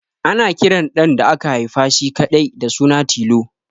Ana kiran ɗan da aka haifa shi kaɗai da suna Tilo